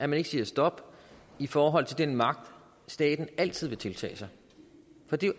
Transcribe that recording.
man ikke siger stop i forhold til den magt staten altid vil tiltage sig for det er